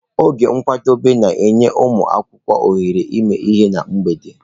Oge nkwadebe na-enye ụmụ akwụkwọ ohere ịmụ ihe na mgbede.